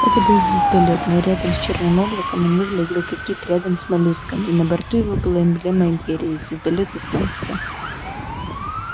это был звездолёт но рядом с чёрным облаком он выглядел как кит рядом с моллюском и на борту его была эмблема империи звездолёт и солнце